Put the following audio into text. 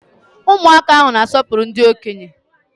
Ụmụaka ahụ na-asọpụrụ ndị okenye.